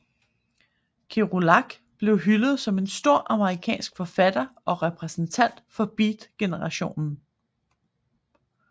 Kerouac blev hyldet som en stor amerikansk forfatter og repræsentant for beatgenerationen